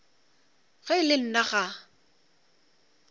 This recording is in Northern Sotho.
ge e le nna ga